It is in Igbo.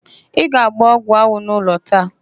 Ị ga-agba ọgwụanwụ n'ụlọ taa?